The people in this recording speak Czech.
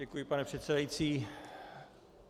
Děkuji, pane předsedající.